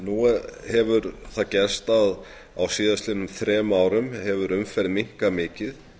nú hefur það gerst að á síðastliðnum þrem árum hefur umferð minnkað mikið